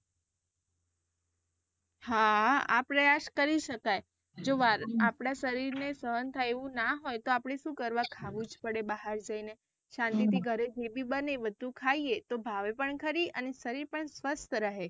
હા. આપડે આ કરી શકાય જો આપડા શરીર ને સહન થાય એવું ના હોય તો આપડે શુ કરવા ખાવું જ પડે બહાર જઇને શાંતિ થી ઘરે જે બી બને એ બધું ખાઈએ તો ભાવે પણ ખરી અને શરીર પણ સ્વસ્થ રહે.